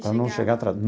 Para não chegar atrasado.